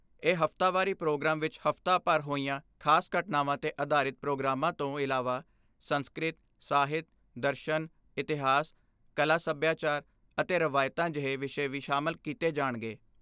ਇਹ ਹਫਤਾਵਾਰੀ ਪ੍ਰੋਗਰਾਮ ਵਿਚ ਹਫਤਾ ਭਰ ਹੋਈਆਂ ਖਾਸ ਘਟਨਾਵਾਂ 'ਤੇ ਆਧਾਰਿਤ ਪ੍ਰੋਗਰਾਮਾਂ ਤੋਂ ਇਲਾਵਾ ਸੰਸਕ੍ਰਿਤ, ਸਾਹਿਤ, ਦਰਸ਼ਨ, ਇਤਿਹਾਸ, ਕਲਾ ਸਭਿਆਚਾਰ ਅਤੇ ਰਵਾਇਤਾਂ ਜਿਹੇ ਵਿਸ਼ੇ ਵੀ ਸ਼ਾਮਲ ਕੀਤੇ ਜਾਣਗੇ।